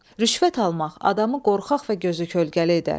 Rüşvət almaq adamı qorxaq və gözü kölgəli edər.